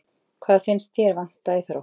Hvað finnst ÞÉR vanta í Þrótt?